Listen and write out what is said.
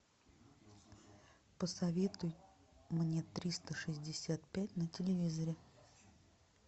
посоветуй мне триста шестьдесят пять на телевизоре